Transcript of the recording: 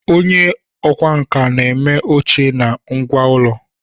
Onye ọkwá nkà na-eme oche na ngwá ụlọ